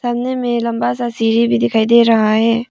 सामने में लंबा सा सीढ़ी भी दिखाई दे रहा है।